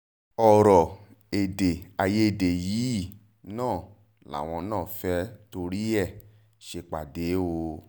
ọ̀rọ̀ èdè-àìyedè yìí náà làwọn náà fẹ́ẹ́ torí ẹ̀ ṣèpàdé o